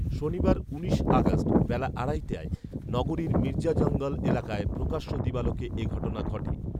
শনিবার উনিশ আগস্ট বেলা আড়াইটায় নগরীর মির্জাজঙ্গাল এলাকায় প্রকাশ্য দিবালোকে এ ঘটনা ঘটে